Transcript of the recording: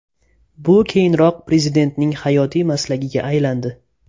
Bu keyinroq Prezidentning hayotiy maslagiga aylandi.